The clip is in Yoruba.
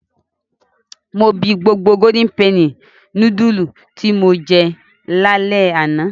Mo bi gbogbo Golden penny núdúlù tí mo jẹ lálẹ́ àná.